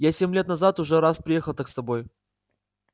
я семь лет назад уже раз приехал так с тобой